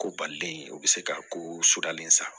Ko balilen o bɛ se ka ko so dalen san